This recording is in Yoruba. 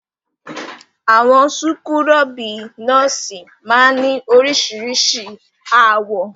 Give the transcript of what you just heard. Àwọn súkúrọ́bì nọ́ọ́sì máa ń ní oríṣiríṣi àwọ̀.